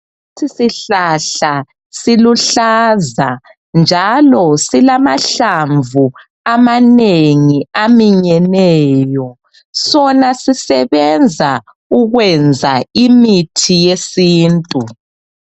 Lesi sihahla siluhlaza njalo silamahlamvu amanengi aminyeneyo. Sona sisebenza ukwenza imithi yesintu.